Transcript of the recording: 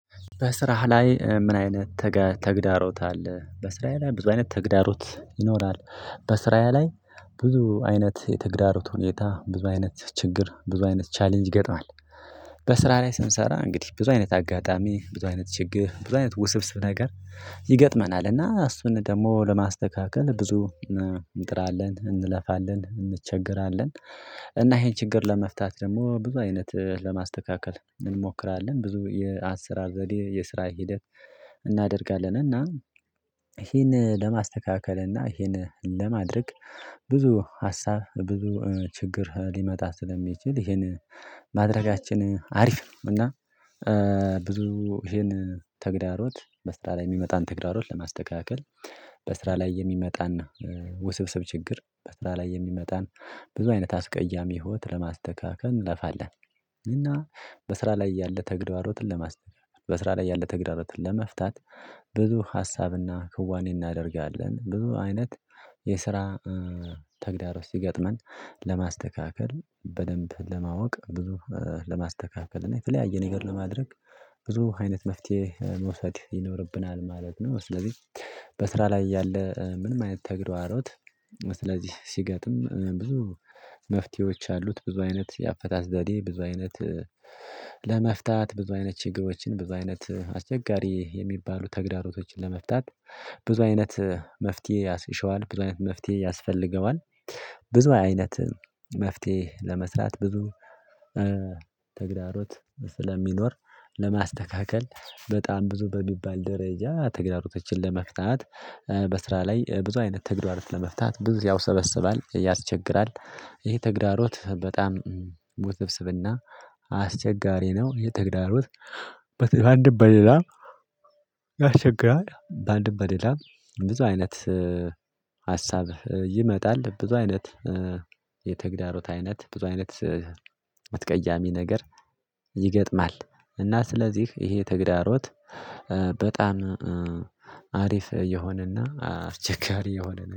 በስራህ ላይ ምን አይነት ተግዳሮት አለ? በስራህ ላይ ብዙ አይነት ተግዳሮት ይኖራል? በስራህ ላይ ብዙ አይነት የተግዳሮት ሁኔታ ብዙ አይነት ችግር ብዙ አይነት ቻሌንጅ ይገጥማል። በስራ ላይ ስንሰራ እንግዲህ ብዙ አይነት አጋጣሚ ብዙ አይነት ችግር ብዙ አይነት ውስብስብ ነገር ይገጥመናል እና እሱን ደግሞ ለማስተካከል ብዙ እንጥራለን እንለፋለን እንቸገራለን። እና ይሄን ችግር ለመፍታት ደግሞ ብዙ አይነት ለማስተካከል እንሞክራለን ብዙ የአሰራር ዘዴ የስራ ሂደት እናደርጋለን። እና ይሄን ለማስተካከል እና ይሄን ለማድረግ ብዙ ሀሳብ ብዙ ችግር ሊመጣ ስለሚችል ይሄን ማድረጋችን አሪፍ ነው። እና ብዙ ይሄን ተግዳሮት በስራ ላይ የሚመጣን ተግዳሮት ለማስተካከል በስራ ላይ የሚመጣና ውስብስብ ችግር በስራ ላይ የሚመጣን ብዙ አይነት አስቀያሚ ህይወት ለማስተካከል እንለፋለን። እና በስራ ላይ ያለ ተግዳሮትን ለማስተካከል በስራ ላይ ያለ ተግዳሮትን ለመፍታት። ብዙ ሀሳብና ክዋኔ እናደርጋለን ብዙ አይነት የስራ ተግዳሮት ሲገጥመን ለማስተካከል በደንብ ለማወቅ ብዙ ለማስተካከል እና የተለያየ ነገር ለማድረግ ብዙ አይነት መፍትሄ መውሰድ ይኖርብናል ማለት ነው። ስለዚህ በስራ ላይ ያለ ምንም አይነት ተግዳሮት ስለዚህ ሲገጥም ብዙ መፍትሄዎች አሉት። ብዙ አይነት የአፈታት ዘዴ ብዙ አይነት ለመፍታት ብዙ አይነት ችግሮችን ብዙ አይነት አስቸጋሪ የሚባሉ ተግዳሮቶችን ለመፍታት ብዙ አይነት መፍትሄ ይሽዋል ብዙ አይነት መፍትሄ ያስፈልገዋል። ብዙ አይነት መፍትሄ ለመስራት ብዙ ተግዳሮት ስለሚኖር ለማስተካከል በጣም ብዙ በሚባል ደረጃ ተግዳሮቶችን ለመፍታት በስራ ላይ ብዙ አይነት ተግዳሮት ለመፍታት ብዙ ያውሰበስባል ያስቸግራል። ይሄ ተግዳሮት በጣም ውብስብስብና አስቸጋሪ ነው። ይህ ተግዳሮት በአንድ በሌላ ያስቸግራል። በአንድ በሌላ ብዙ አይነት ሀሳብ ይመጣል ብዙ አይነት የተግዳሮት አይነት ብዙ አይነት አስቀያሚ ነገር ይገጥማል። እና ስለዚህ ይሄ ተግዳሮት በጣም አሪፍ የሆነና አስቸጋሪ የሆነ